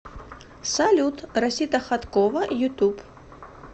салют расита хаткова ютуб